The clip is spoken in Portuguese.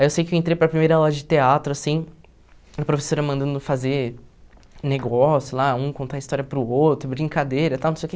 Aí eu sei que eu entrei para a primeira aula de teatro, assim, a professora mandando fazer negócio lá, um contar a história para o outro, brincadeira e tal, não sei o quê.